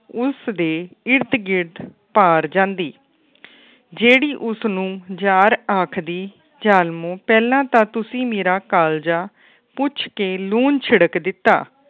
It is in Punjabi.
ਉਸ ਦੇ ਇਰਦ ਗਿਰਦ ਪਾੜ ਜਾਂਦੀ ਜਿਹੜੀ ਉਸ ਨੂੰ ਜਾੜ੍ਹ ਆਖਦੀ ਜ਼ਾਲਮੋਂ ਪਹਿਲਾ ਤਾ ਤੁਸੀਂ ਮੇਰਾ ਕਾਲਜਾਂ ਪੂਛ ਕੇ ਲੂਣ ਛਿਡ਼ਕ ਦਿਤਾ।